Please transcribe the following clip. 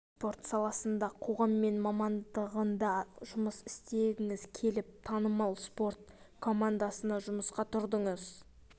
спорт саласында қоғаммен байланыс мамандығында жұмыс істегіңіз келіп танымал спорт компандасына жұмысқа тұрдыңыз